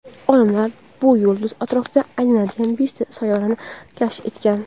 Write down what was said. olimlar bu yulduz atrofida aylanadigan beshta sayyorani kashf etgan.